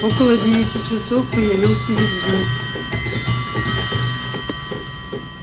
около девяти часов появился визгун